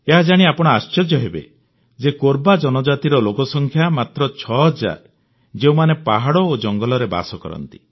ଏହାଜାଣି ଆପଣ ଆଶ୍ଚର୍ଯ୍ୟ ହେବେ ଯେ କୋରବା ଜନଜାତିର ଲୋକସଂଖ୍ୟା ମାତ୍ର 6000 ଯେଉଁମାନେ ପାହାଡ଼ ଓ ଜଙ୍ଗଲରେ ବାସ କରନ୍ତି